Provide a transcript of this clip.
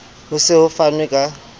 ho se ho fanwe ka